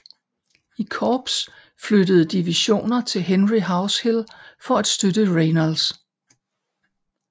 I korps flyttede divisioner til Henry House Hill for at støtte Reynolds